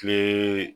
Kile